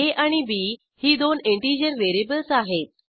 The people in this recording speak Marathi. आ आणि बी ही दोन इंटिजर व्हेरिएबल्स आहेत